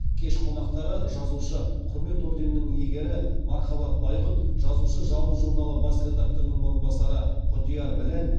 кеш қонақтары жазушы құрмет орденінің иегері мархабат байғұт жазушы жалын журналы бас редакторының орынбасары құдияр біләл